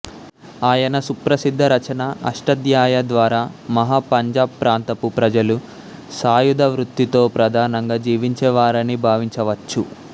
ఆయన సుప్రసిద్ధ రచన అష్టాధ్యాయి ద్వారా మహా పంజాబ్ ప్రాంతపు ప్రజలు సాయుధ వృత్తితో ప్రధానంగా జీవించేవారని భావించవచ్చు